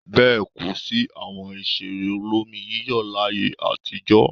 Bẹ́ẹ̀ kò sí àwọn ìṣeré olómi-yíyọ̀ láyé àtijọ́.